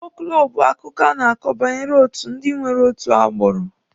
Fọlkụlọ bụ akụkọ a na-akọ banyere otu ndi nwere otu agbụrụ.